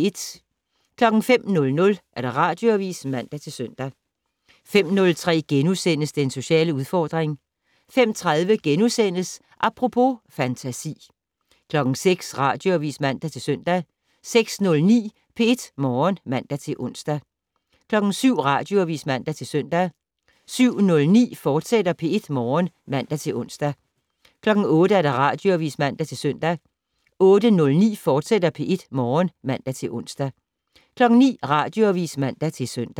05:00: Radioavis (man-søn) 05:03: Den sociale udfordring * 05:30: Apropos - fantasi * 06:00: Radioavis (man-søn) 06:09: P1 Morgen (man-ons) 07:00: Radioavis (man-søn) 07:09: P1 Morgen, fortsat (man-ons) 08:00: Radioavis (man-søn) 08:09: P1 Morgen, fortsat (man-ons) 09:00: Radioavis (man-søn)